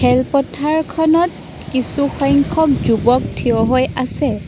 খেলপথাৰখনত কিছু সংখ্যক যুৱক থিয় হৈ আছে।